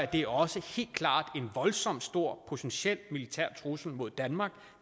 det også helt klart en voldsomt stor potentiel militær trussel mod danmark